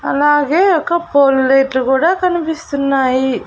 అలాగే ఒక పోల్డేట్లు కూడా కనిపిస్తున్నాయి.